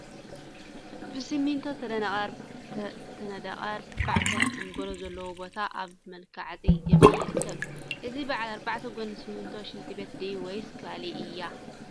ብስሚንቶ ዝተነደቀ አርባዕተ አንጎሎ ዘለዎ ቦታ አብ መልክዐፃ እምኒ ይርከብ፡፡ እዚ በዓል አርባዕተ ጎኒ ስሚንቶ ሽንቲ ቤት ድያ ወይስ ካሊእ እያ?